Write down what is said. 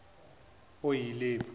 oyilepu